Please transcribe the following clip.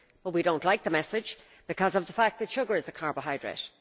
But we do not like the message, because of the fact that sugar is a carbohydrate.